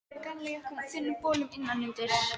Þær voru í gallajökkum og þunnum bolum innan undir.